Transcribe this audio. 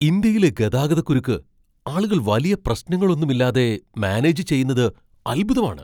ഇന്ത്യയിലെ ഗതാഗതക്കുരുക്ക് ആളുകൾ വലിയ പ്രശ്നങ്ങളൊന്നുമില്ലാതെ മാനേജ് ചെയ്യുന്നത് അത്ഭുതമാണ്!